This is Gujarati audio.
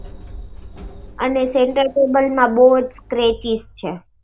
અને center table માં બહુજ scratches છે.